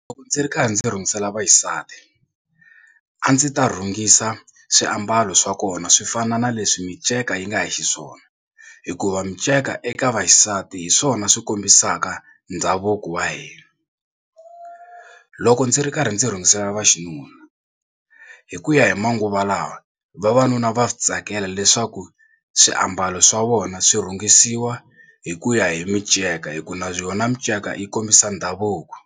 Loko ndzi ri karhi ndzi rhungisela vaxisati a ndzi ta rhungisa swiambalo swa kona swi fana na leswi minceka yi nga hi xiswona hikuva minceka eka vaxisati hi swona swi kombisaka ndhavuko wa hina. Loko ndzi ri karhi ndzi rhungisela vaxinuna hi ku ya hi manguva lawa vavanuna va swi tsakela leswaku swiambalo swa vona swi rhungisiwa hi ku ya hi minceka hi ku na yona minceka yi kombisa ndhavuko